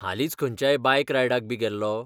हालींच खंयच्याय बायक रायडाक बी गेल्लो?